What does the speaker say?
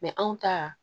anw ta